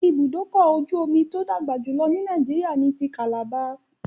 Ibùdó-ọkọ̀-ojú-omi tó dàgbà jùlọ ní Nàìjíríà ni ti calabar.